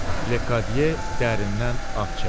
Ledi dərindən ah çəkdi.